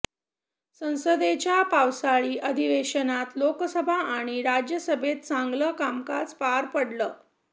संसदेच्या पावसाळी अधिवेशनात लोकसभा आणि राज्यसभेत चांगलं कामकाज पार पडलं